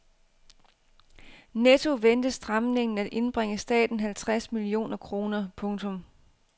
Netto ventes stramningen at indbringe staten halvtreds millioner kroner. punktum